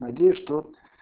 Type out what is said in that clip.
надеюсь что